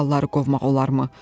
Kralları qovmaq olarmı?